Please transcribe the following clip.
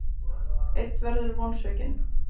Einn verður vonsvikinn.